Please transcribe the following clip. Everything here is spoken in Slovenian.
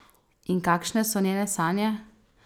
In kakšne so njene sanje?